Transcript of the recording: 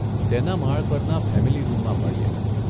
તેના માળ પરના ફેમીલી રૂમમાં મળીએ.